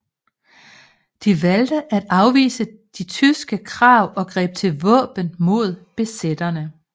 De valgte at afvise de tyske krav og greb til våben mod besætterne